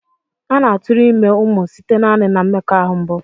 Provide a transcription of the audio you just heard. A na-aturu ime umu site naani na mmekoahu mbụ.